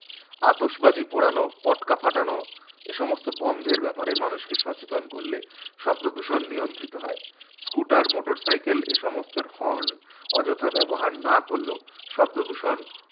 আতশবাজি পোড়ানো পটকা ফাটানো এইসমস্ত বন্ধের ব্যাপারে মানুষকে সচেতন করলে শব্দদূষণ নিয়ন্ত্রিত হয়। scooter motorcycle এসমস্তের horn অযথা ব্যবহার না করলেও, শব্দদূষণ